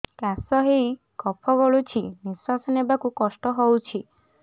କାଶ ହେଇ କଫ ଗଳୁଛି ନିଶ୍ୱାସ ନେବାକୁ କଷ୍ଟ ହଉଛି